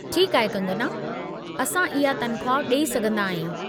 ठीकु आहे कंगना, असां इहा तनख़्वाह ॾेई सघिन्दा आहियूं।